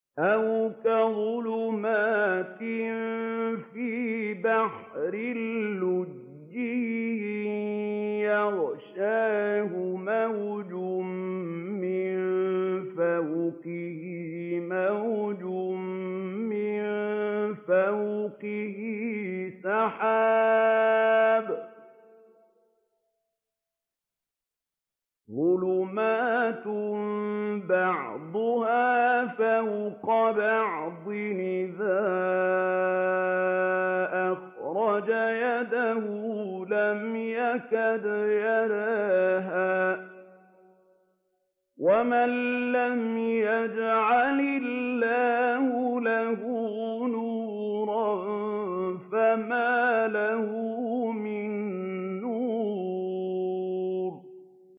أَوْ كَظُلُمَاتٍ فِي بَحْرٍ لُّجِّيٍّ يَغْشَاهُ مَوْجٌ مِّن فَوْقِهِ مَوْجٌ مِّن فَوْقِهِ سَحَابٌ ۚ ظُلُمَاتٌ بَعْضُهَا فَوْقَ بَعْضٍ إِذَا أَخْرَجَ يَدَهُ لَمْ يَكَدْ يَرَاهَا ۗ وَمَن لَّمْ يَجْعَلِ اللَّهُ لَهُ نُورًا فَمَا لَهُ مِن نُّورٍ